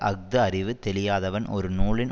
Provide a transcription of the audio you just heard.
அஃது அறிவு தெளியாதவன் ஒரு நூலின்